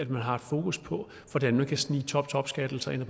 man har fokus på hvordan man kan snige topskattelettelser